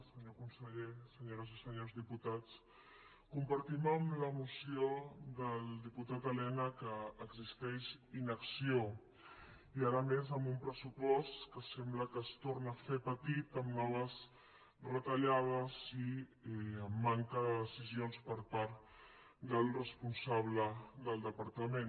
senyor conseller senyores i senyors diputats compartim amb la moció del diputat elena que existeix inacció i ara més amb un pressupost que sembla que es torna a fer petit amb noves retallades i amb manca de decisions per part del responsable del departament